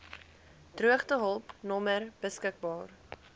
droogtehulp nommer beskik